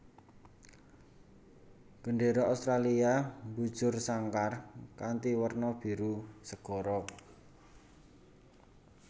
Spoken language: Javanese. Gendéra Australia mbujur sangkar kanthi werna biru segara